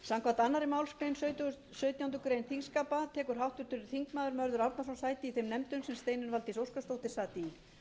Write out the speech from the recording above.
samkvæmt annarri málsgrein sautjándu grein þingskapa tekur háttvirtur þingmaður mörður árnason sæti í þeim nefndum sem steinunn valdís óskarsdóttir sat í en það eru